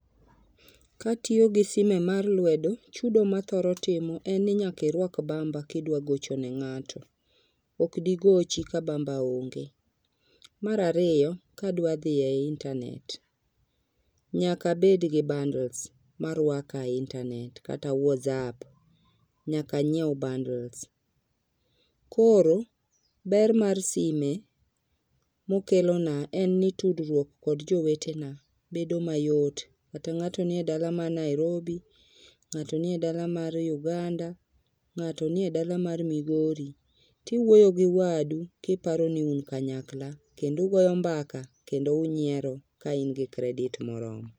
Katiyo gi sime mar wedo, chudo mathoro timo en ni nyaka irwak bamba kidwa gocho ne ngato. Okdi gochi ka bamba onge. Mar ariyo kadwa dhi e internet nyaka abed gi bundles marwaka e internet kata whatsapp, nyaka anyiew bundles. Koro ber mar sime mokelona en ni tudruok kod jowetewa bedo mayot kata ng'ato nie dala mar Nairobi, ng'ato nie dala mar Uganda, ng'ato nie dala mar Migori tiwuoyo gi wadu kiparo ni un kanyakla kendo ugoyo mbaka kendo unyiero kaun gi credit moromo